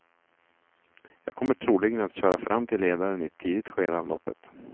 Jag kommer troligen att köra fram till ledaren i ett tidigt skede av loppet.